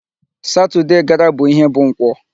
Saturday gara bụ ihe bụ Nkwọ.